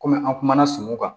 Kɔmi an kumana sunɔgɔ kan